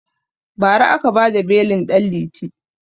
Ba ra aka bada belin ɗan liti